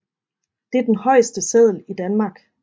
Det er den højeste seddel i Danmark